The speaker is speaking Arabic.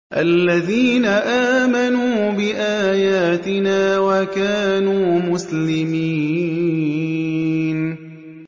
الَّذِينَ آمَنُوا بِآيَاتِنَا وَكَانُوا مُسْلِمِينَ